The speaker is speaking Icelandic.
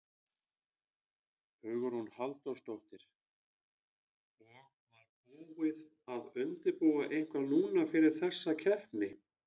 Hugrún Halldórsdóttir: Og var búið að undirbúa eitthvað núna fyrir þessa keppni?